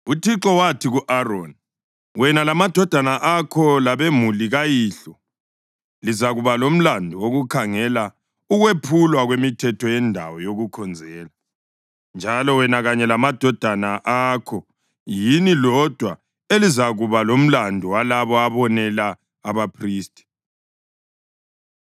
UThixo wathi ku-Aroni, “Wena, lamadodana akho labemuli kayihlo lizakuba lomlandu wokukhangela ukwephulwa kwemithetho yendawo yokukhonzela, njalo wena kanye lamadodana akho yini lodwa elizakuba lomlandu walabo abonela abaphristi.